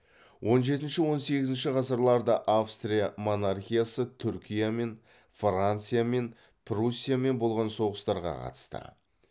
он жетінші он сегізінші ғасырларда австрия монархиясы түркиямен франциямен пруссиямен болған соғыстарға қатысты